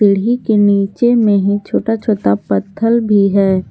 सीढ़ी के नीचे में ही छोटा छोटा पत्थल भी है।